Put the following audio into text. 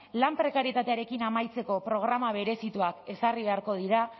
lan prekarietatearekin amaitzeko programa berezituak ezarri beharko dira